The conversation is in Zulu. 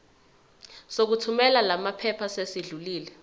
sokuthumela lamaphepha sesidlulile